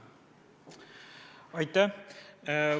Aitäh!